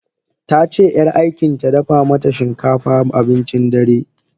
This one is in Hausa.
Tace yar aikinta dafa mata shinkafa abincin dare.